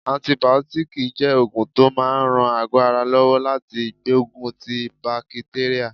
Antibiotics jẹ́ oògùn tó máa ń ran àgọ́ ara lọ́wọ́ láti gbógun ti bakitérà.